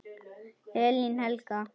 Elín Helga.